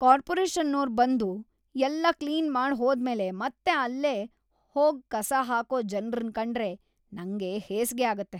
ಕಾರ್ಪೊರೇಷನ್ನೋರ್‌ ಬಂದು ಎಲ್ಲ ಕ್ಲೀನ್‌ ಮಾಡ್‌ ಹೋದ್ಮೇಲೆ ಮತ್ತೆ ಅಲ್ಲೇ ಹೋಗ್‌ ಕಸ ಹಾಕೋ ಜನ್ರನ್‌ ಕಂಡ್ರೆ ನಂಗ್‌ ಹೇಸ್ಗೆ ಆಗತ್ತೆ.